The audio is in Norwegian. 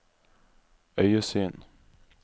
øyesyn